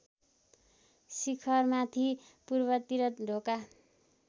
शिखरमाथि पूर्वतिर ढोका